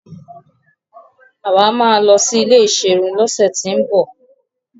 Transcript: Àwa máa lọ sí ilé ìserun lọ́sẹ̀ tín bọ̀.